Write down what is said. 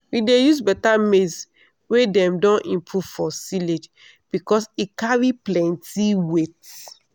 we dey use better maize wey dem don improve for silage because e carry plenty weight.